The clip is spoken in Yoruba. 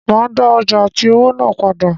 Màá dá ọjà àti owó náà padà.